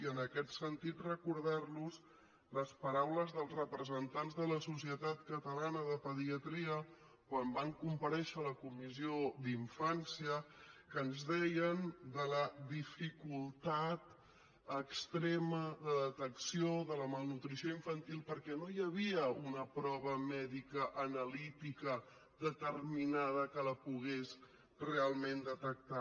i en aquest sentit recordar los les paraules dels representants de la societat catalana de pediatria quan van comparèixer a la comissió d’infància que ens deien de la dificultat extrema de detecció de la malnutrició infantil perquè no hi havia una prova mèdica analítica determinada que la pogués realment detectar